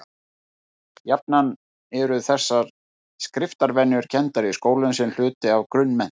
Jafnan eru þessar skriftarvenjur kenndar í skólum sem hluti af grunnmenntun.